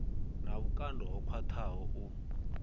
na vhukando ho khwaṱhaho u